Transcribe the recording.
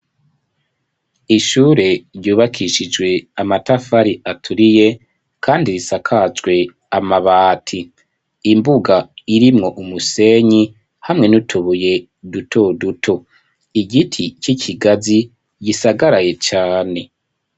Ishure ryubakishijwe amatafari aturiye kandi risakajwe amabati imbuga irimwo umusenyi hamwe n'utubuye duto duto igiti c'ikigazi gisagaraye cane.